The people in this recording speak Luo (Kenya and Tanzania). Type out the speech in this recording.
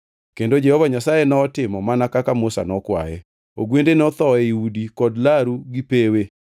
Kendo Jehova Nyasaye notimo mana kaka Musa nokwaye. Ogwende notho ei udi kod laru gi pewe.